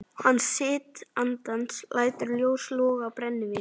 Hann sitt andans lætur ljós loga á brennivíni.